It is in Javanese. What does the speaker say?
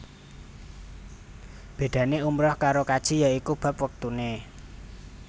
Bédané umrah karo kaji ya iku bab wektuné